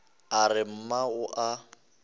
a re mma o a